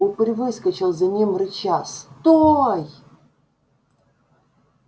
упырь выскочил за ним рыча стой